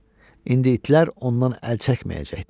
İndi itlər ondan əl çəkməyəcəkdi.